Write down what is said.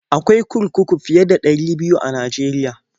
Akwai kurkuku fiye da ɗari biyu a Najeriya.